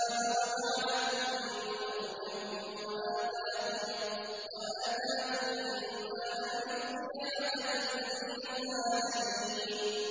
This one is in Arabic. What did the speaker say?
وَجَعَلَكُم مُّلُوكًا وَآتَاكُم مَّا لَمْ يُؤْتِ أَحَدًا مِّنَ الْعَالَمِينَ